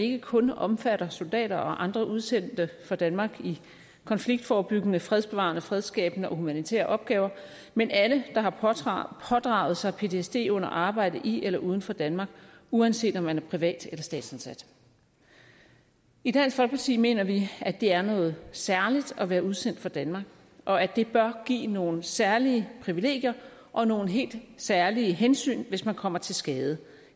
ikke kun omfatter soldater og andre udsendte fra danmark i konfliktforebyggende fredsbevarende fredsskabende og humanitære opgaver men alle der har pådraget pådraget sig ptsd under arbejdet i eller uden for danmark uanset om man er privatansat eller statsansat i dansk folkeparti mener vi at det er noget særligt at være udsendt for danmark og at det bør give nogle særlige privilegier og nogle helt særlige hensyn hvis man kommer til skade